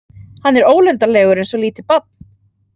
Hann er ólundarlegur eins og lítið barn.